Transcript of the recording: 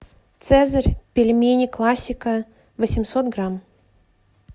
цезарь пельмени классика восемьсот грамм